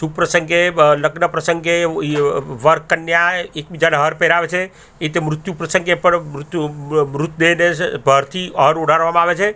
શુભ પ્રસંગે અ લગ્ન પ્રસંગે વર કન્યા એક બીજાને હાર પહેરાવે છે એ રીતે મૃત્યું પ્રસંગે પણ મૃત્યુ મ-મૃત આવે છે.